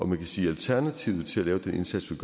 man kan sige at alternativet til at lave den indsats vi